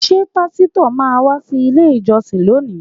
Ṣé pásítọ̀ má wá sí ilé ìjọsìn lónìí?